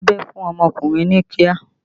Dabẹ́ fún ọmọkùnrin ní kíá!